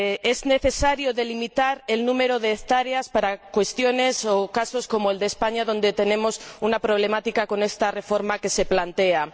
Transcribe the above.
Es necesario delimitar el número de hectáreas para casos como el de España, donde tenemos un problema con esta reforma que se plantea.